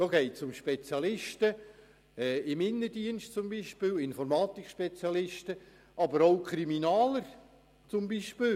Es geht um Spezialisten im Innendienst wie Informatiker oder auch Kriminaltechnologen.